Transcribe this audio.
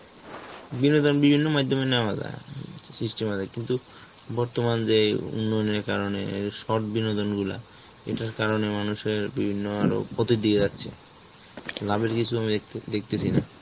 বিনোদন বিভিন্ন মাইধ্যমে নেওয়া যায়, উম কিন্তু, বর্তমান যেই উন্নয়নের কারণে short বিনোদনখোলা, এটার কারণে মানুষের বিভিন্ন আরও ক্ষতির দিকে যাচ্ছে, লাভের কিছু আমি দেখতে~ দেখতেছি না.